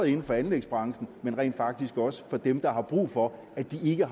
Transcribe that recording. inden for anlægsbranchen og rent faktisk også for dem der har brug for at de ikke